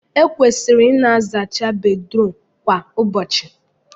Ekwesịrị ịna azacha Bedrum kwa ụbọchị